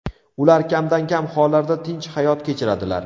Ular kamdan-kam hollarda tinch hayot kechiradilar.